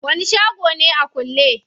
Wani shago ne a kulle?